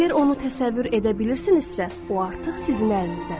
Əgər onu təsəvvür edə bilirsinizsə, o artıq sizin əlinizdədir.